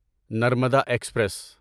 Narmada express